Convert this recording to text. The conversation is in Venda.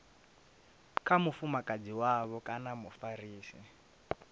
kha mufumakadzi wavho kana mufarisi